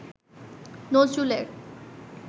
নজরুলের